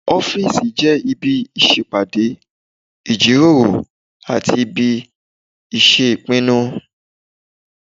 Ọ́fìsì jẹ́ ibi ìṣèpàdé, ìjíròrò àti ibi ìṣèpinnu